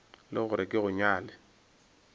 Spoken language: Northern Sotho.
le gore ke go nyale